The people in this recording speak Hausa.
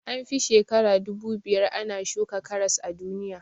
An fi shekara dubu biyar ana shuka karas a duniya